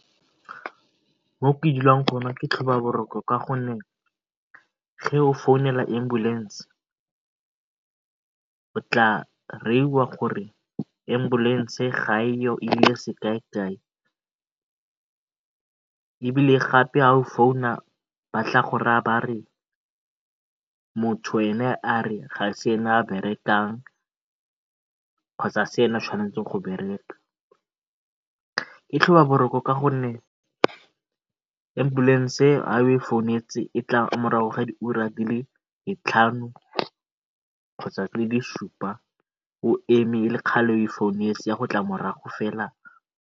Mo ke dlang gone ke tlhobaboroko ka gonne o founela ambulance o tla gore ambulance ga e yo e ile ebile gape ga o founa ba tla go raya ba re motho ene a re ga se ena a berekang kgotsa ga ke ena a tshwanetseng go bereka. Ke tlhobaboroko ka gonne ambulance ga o e founetse e tla morago ga diura di le ditlhano kgotsa di le supa o eme o e founetse e a go tla morago fela.